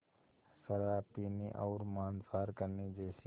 शराब पीने और मांसाहार करने जैसे